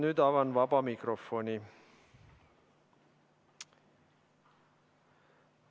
Nüüd avan vaba mikrofoni.